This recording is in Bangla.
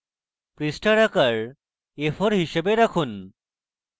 পৃষ্ঠার আকার a4 হিসাবে রাখুন